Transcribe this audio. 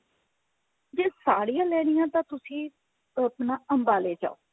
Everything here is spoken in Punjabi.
ਜੇ ਸਾੜੀਆਂ ਲੈਣੀਆ ਨੇ ਤਾਂ ਤੁਸੀਂ ਆਪਣਾ ਅੰਬਾਲੇ ਜਾਓ